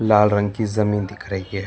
लाल रंग की जमीन दिख रही है।